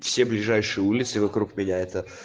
все ближайшие улицы вокруг меня это